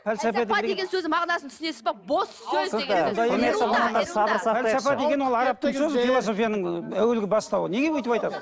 деген сөздің мағынасын түсінесіз бе бос сөз философияның әуелгі бастауы неге өйтіп айтады